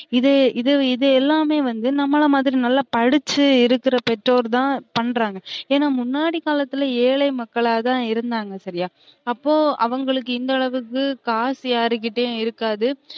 இதே இது இது எல்லாமே வந்து நம்மளமாதிரி நல்லா படிச்சு இருக்குற பெற்றோர் தான் பண்றாங்க ஏன்னா முன்னாடி காலத்துல ஏழை மக்களா தான் இருந்தாங்க சரியா அப்போ அவுங்களுக்கு இந்த அளவுக்கு காசு யாருகிட்டையும் இருக்காது